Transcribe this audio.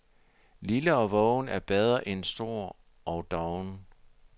Lille og vågen er bedre en stor og doven.